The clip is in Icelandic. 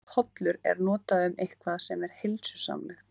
Orðið hollur er notað um eitthvað sem er heilsusamlegt.